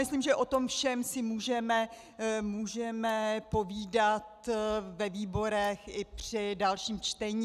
Myslím, že o tom všem si můžeme povídat ve výborech i při dalším čtení.